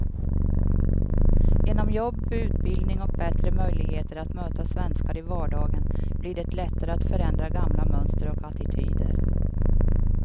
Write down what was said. Genom jobb, utbildning och bättre möjligheter att möta svenskar i vardagen blir det lättare att förändra gamla mönster och attityder.